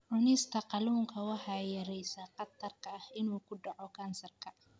Cunista kalluunka waxay yaraynaysaa khatarta ah inuu ku dhaco kansarka.